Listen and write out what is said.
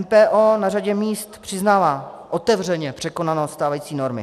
MPO na řadě míst přiznává otevřeně překonanost stávající normy.